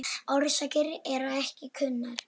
Orsakir eru ekki kunnar.